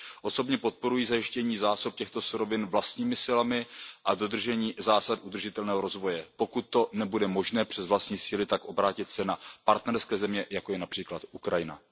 Osobně podporuji zajištění zásob těchto surovin vlastními silami a dodržení zásad udržitelného rozvoje, pokud to nebude možné přes vlastní síly, tak obrátit se na partnerské země, jako je například Ukrajina.